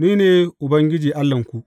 Ni ne Ubangiji Allahnku.